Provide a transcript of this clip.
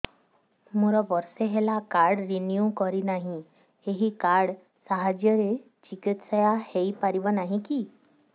ମୋର ବର୍ଷେ ହେଲା କାର୍ଡ ରିନିଓ କରିନାହିଁ ଏହି କାର୍ଡ ସାହାଯ୍ୟରେ ଚିକିସୟା ହୈ ପାରିବନାହିଁ କି